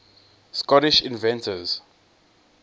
scottish inventors